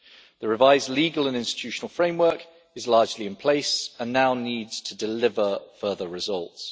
The revised legal and institutional framework is largely in place and now needs to deliver further results.